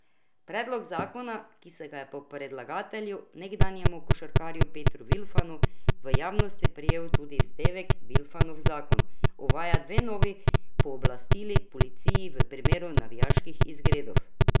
Predlog zakona, ki se ga je po predlagatelju, nekdanjem košarkarju Petru Vilfanu, v javnosti prijel tudi vzdevek Vilfanov zakon, uvaja dve novi pooblastili policiji v primeru navijaških izgredov.